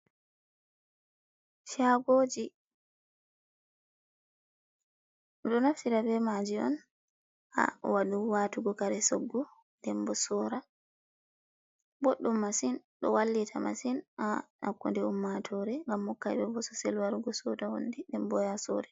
Shagoji ɗo naftira be maaji on ha watugo kare soggu dembo sora, boɗɗum masin do wallita masin ha hakkunde ummatore ngam hokka ɓe bososel warugo sooda hunde dembo ya sora.